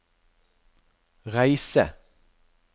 reise